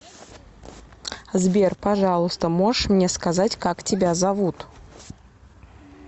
сбер пожалуйста можешь мне сказать как тебя зовут